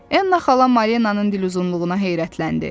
Enna xala Marinanın diluzunluğuna heyrətləndi.